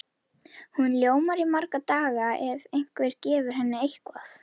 Hún ljómar í marga daga ef einhver gefur henni eitthvað.